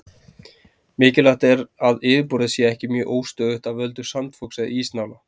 Mikilvægt er að yfirborðið sé ekki mjög óstöðugt af völdum sandfoks eða ísnála.